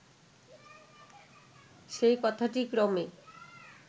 সেই কথাটি ক্রমে